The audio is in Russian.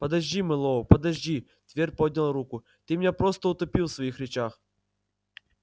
подожди мэллоу подожди твер поднял руку ты меня просто утопил в своих речах